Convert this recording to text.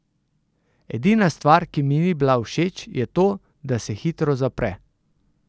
Edina stvar, ki mi ni bila všeč, je to, da se hitro zapre.